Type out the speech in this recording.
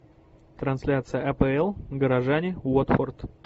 трансляция апл горожане уотфорд